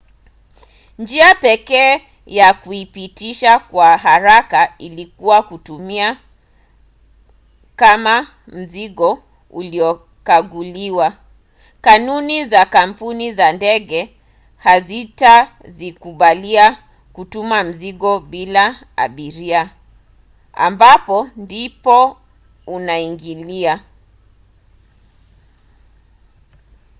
njia pekee ya kuipitisha kwa haraka ilikuwa kuituma kama mzigo uliokaguliwa. kanuni za kampuni za ndege hazitazikubalia kutuma mzigo bila abiria ambapo ndipo unaingilia